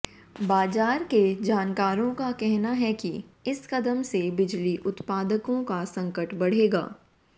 बाजार के जानकारों का कहना है कि इस कदम से बिजली उत्पादकों का संकट बढ़ेगा